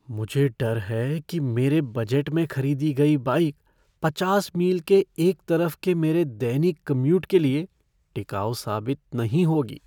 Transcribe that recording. मुझे डर है कि मेरे बजट में खरीदी गई बाइक पचास मील के एक तरफ के मेरे दैनिक कम्यूट के लिए टिकाऊ साबित नहीं होगी।